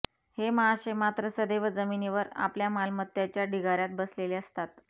हे महाशय मात्र सदैव जमिनीवर आपल्या मालमत्त्याच्या ढिगाऱ्यात बसलेले असतात